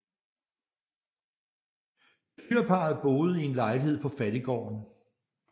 Bestyrerparret boede i en lejlighed på fattiggården